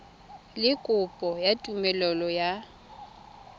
le kopo ya tumelelo ya